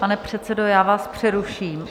Pane předsedo, já vás přeruším.